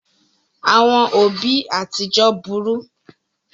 Àwọn òbí àtijọ burú.